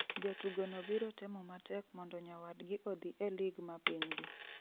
Jatugo no biro temo matek mondo nyawadgi odhi e lig ma pinygi